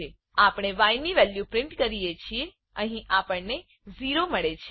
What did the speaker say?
આપણે ય ની વેલ્યુ પ્રિન્ટ કરીએ છીએ અહી આપણને 0મળે છે